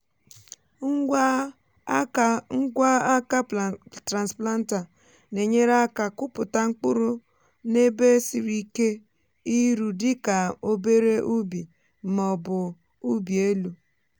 ngwa aka ngwa aka transplanter na-enyere aka kụpụta mkpụrụ n’ebe siri ike iru dị ka obere ubi ma ọ bụ ụbi elu.